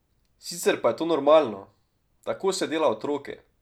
Sicer je pa to normalno, tako se dela otroke.